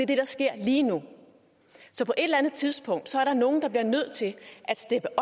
det der sker lige nu så på et eller andet tidspunkt er der nogen der bliver nødt til at steppe